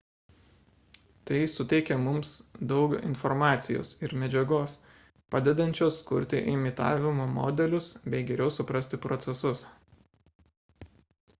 tai suteikia mums daug informacijos ir medžiagos padedančios kurti imitavimo modelius bei geriau suprasti procesus